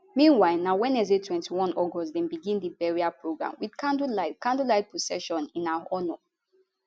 meanwhile na wednesday 21 august dem begin di burial program wit candlelight candlelight procession in her honour